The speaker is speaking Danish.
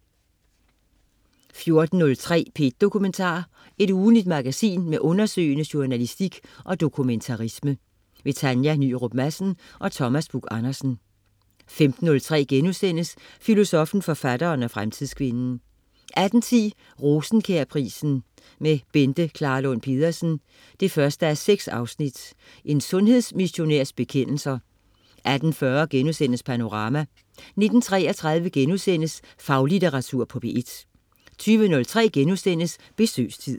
14.03 P1 Dokumentar. Ugentligt magasin med undersøgende journalistik og dokumentarisme. Tanja Nyrup Madsen og Thomas Buch-Andersen 15.03 Filosoffen, forfatteren og fremtidskvinden* 18.10 Rosenkjærprisen med Bente Klarlund Pedersen 1:6. En sundhedsmissionærs bekendelser 18.40 Panorama* 19.33 Faglitteratur på P1* 20.03 Besøgstid*